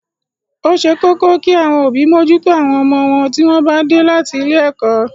Ó ṣe pàtàkì kí àwọn òbí mójútó àwọn ọmọ wọn tí wọ́n bá dé láti ilé ẹ̀kọ́.